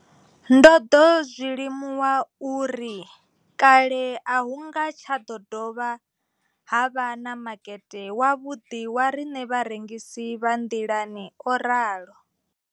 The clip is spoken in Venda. Ndo ḓo zwi limuwa uri kale a hu nga tsha ḓo vha na makete wavhuḓi wa riṋe vharengisi vha nḓilani, o ralo.